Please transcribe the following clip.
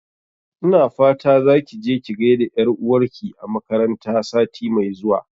Ina fata zaki je ki gaida ƴar'uwar ki a makaranta sati mai zuwa